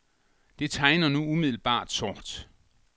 Det tegner nu umiddelbart sort.